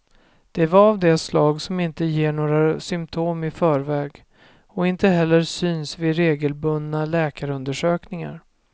Det var av det slag som inte ger några symtom i förväg och inte heller syns vid regelbundna läkarundersökningar.